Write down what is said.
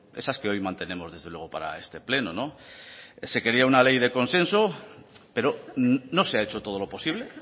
esas que hoy mantenemos desde luego para este pleno se quería una ley de consenso pero no se ha hecho todo lo posible